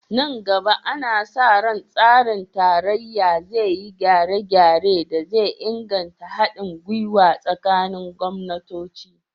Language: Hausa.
Nan gaba, ana sa ran tsarin tarayya zai yi gyare-gyaren da zai inganta hadin gwiwa tsakanin gwamnatoci